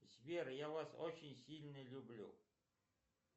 сбер я вас очень сильно люблю